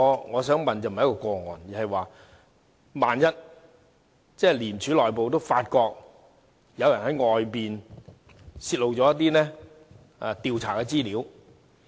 我想問的並非一宗個案，而是萬一廉署內部發覺有人員在外面泄露一些調查的資料......